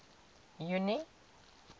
junie